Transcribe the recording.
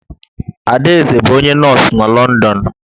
Adaeze bụ onye nọọsụ n'Lọndọn